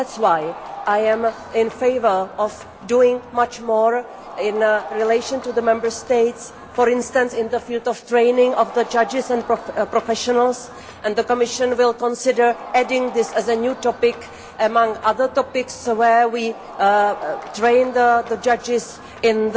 That is why I am in favour of doing much more in conjunction with the Member States, for instance in the field of training of judges and professionals. The Commission will consider adding this as a new topic amongst other topics where we train judges on